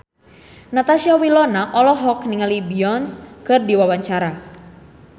Natasha Wilona olohok ningali Beyonce keur diwawancara